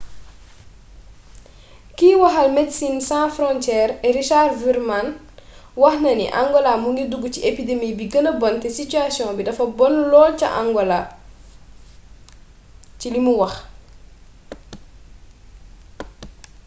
kiy waxal medecines sans frontiere richard veerman wax na ni angola mu ngi ci duggu ci épidemi bi gëna bon te sitiyasiyoŋ bi dafa bon lool ca angalo ci limu wax